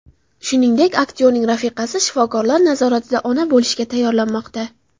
Shuningdek, aktyorning rafiqasi shifokorlar nazoratida ona bo‘lishga tayyorlanmoqda.